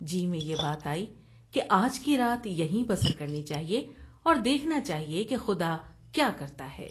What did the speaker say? جی میں یہ بات آئی کہ آج کی رات یہیں بسر کرنی چاہیے اور دیکھنا چاہیے کہ خدا کیا کرتا ہے ۔